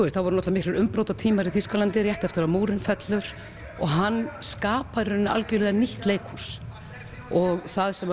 við þá voru miklir umbrotatímar í Þýskalandi rétt eftir að múrinn fellur og hann skapar í rauninni algjörlega nýtt leikhús og það sem